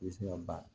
I bɛ se ka baara